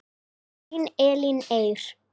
Þín Elín Eir.